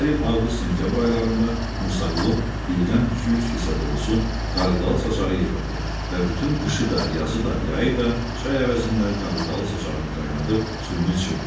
Hər il Avqust-Sentyabr aylarında Musaqulu birdən iki-üç kisə dolusu qarğıdalı saçağı yığırdı və bütün qışı da, yazı da, yayı da çay əvəzində qarğıdalı saçağını qaynadıb suyunu içirdi.